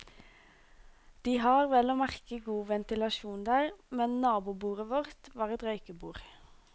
De har vel og merke god ventilasjon der, men nabobordet vårt, var et røykebord.